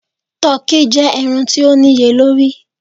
Tọki jẹ ẹran ti o niyelori